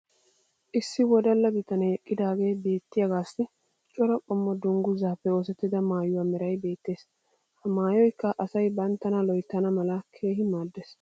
issi wodalla bitanee eqqidaagee beettiyaagaassi cora qommo dangguzzaappe oosettida maayuwaa meray beetees. ha maayoykka asay banttana loyttana mala keehi maadees.